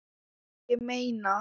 Ég meina.